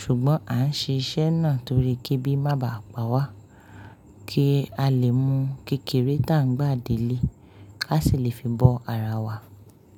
Ṣùgbọ́n à ń ṣe iṣẹ́ náà torí kí ebi má bàá pa wa, kí a lè mú kékeré tá ń gbà délé, ká sì lè fi bọ́ ara wa.